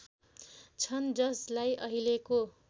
छन् जसलाई अहिलेको